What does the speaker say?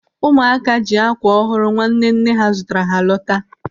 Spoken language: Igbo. Ụmụaka ji ákwà ọhụrụ nwanne nne ha zụtara ha lọta.